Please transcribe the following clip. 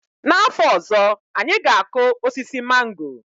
N'afọ ọzọ, anyị ga-akụ osisi mango.